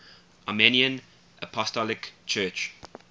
armenian apostolic church